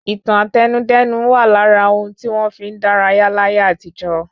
Ìtàn Àtẹnudẹ́nu wà lára ohun tí wọ́n fi n dárayá láyé àtijọ.